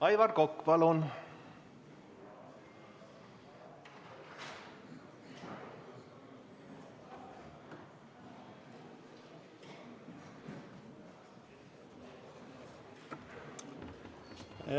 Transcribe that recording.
Aivar Kokk, palun!